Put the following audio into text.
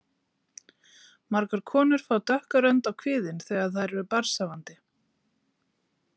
Margar konur fá dökka rönd á kviðinn þegar þær eru barnshafandi.